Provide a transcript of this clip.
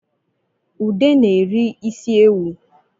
Ude na-eri isi ewu